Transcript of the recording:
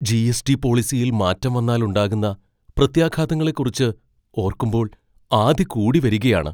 G. S. T. പോളിസിയിൽ മാറ്റം വന്നാൽ ഉണ്ടാകുന്ന പ്രത്യാഘാതങ്ങളെക്കുറിച്ച് ഓർക്കുമ്പോൾ ആധി കൂടി വരികയാണ്.